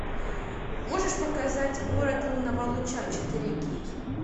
можешь показать город лунного луча четыре кей